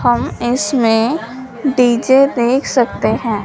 हम इसमें डी_जे देख सकते हैं।